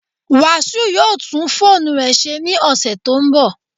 Wasiu will repair his phone next week